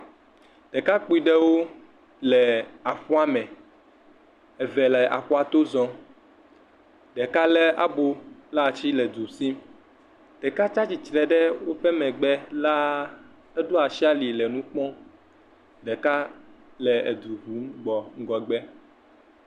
Ɖekakpui ɖewo le aƒua me, eve le aƒua to zɔm, ɖeka lé abo ɖe asi le edu sim, ɖeka tsatsitre ɖe woƒe megbe laa, eɖo asi ali le nu kpɔm, ɖeka le edu ƒum gbɔ ŋgɔgbe.